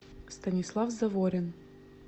станислав заворин